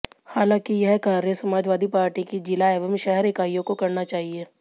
हालांकि यह कार्य समाजवादी पार्टी की जिला एवं शहर ईकाइयों को करना चाहिए